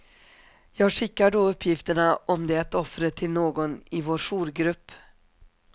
Jag skickar då uppgifterna om det offret till någon i vår jourgrupp.